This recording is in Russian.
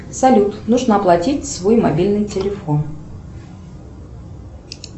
салют нужно оплатить свой мобильный телефон